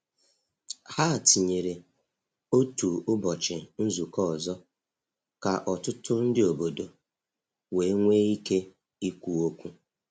Ha tinyere otu ụbọchị nzukọ ọzọ ka ọtụtụ ndị obodo wee nwee ike ikwu okwu.